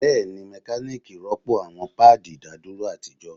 Bẹẹni, mekaniki rọpo awọn paadi idaduro atijọ